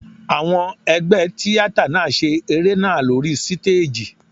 Àwọn ẹgbẹ́ tíátà náà ṣe eré náà lóri stéèjì.